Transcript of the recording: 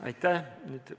Aitäh!